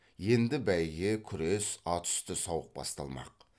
енді бәйге күрес ат үсті сауық басталмақ